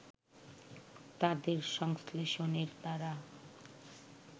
তাদের সংশ্লেষণের দ্বারা